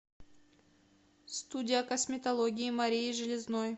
студия косметологии марии железной